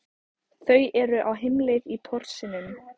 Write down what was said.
Þau eru á heimleið í Porsinum.